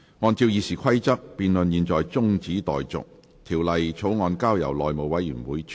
按照《議事規則》，辯論現在中止待續，條例草案交由內務委員會處理。